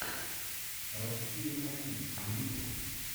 россия один на ютюбе